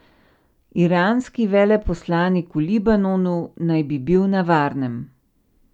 Iranski veleposlanik v Libanonu naj bi bil na varnem.